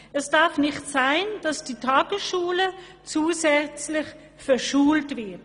«Es darf nicht sein, dass die Tagesschule zusätzlich «verschult» wird.